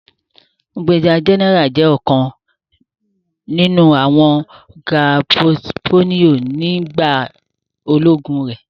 Brigadier General jẹ ọkan ninu awọn ga portfolio ni bayi ologun re.